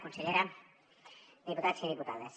consellera diputats i diputades